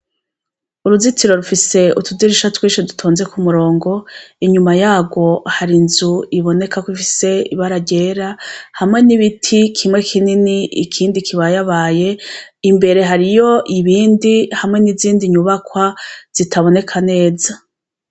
Uruzitiro rufise utudirisha twinshu dutonze ku murongo inyuma yaro hari inzu ibonekako ifise ibara ryera hamwe n'ibiti kimwe kinini ikindi kibayabaye imbere hari iyo ibindi hamwe n'izindi nyubakwa zitaboneka neza.